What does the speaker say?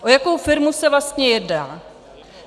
O jakou firmu se vlastně jedná?